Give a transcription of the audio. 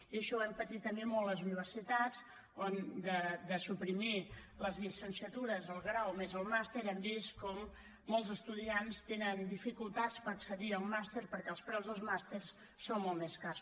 i això ho hem patit molt les universitats on de suprimir les llicenciatures al grau més el màster hem vist com molts estudiants tenen dificultats per accedir al màster perquè els preus dels màsters són molt més cars